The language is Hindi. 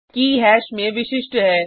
के हैश में विशिष्ट है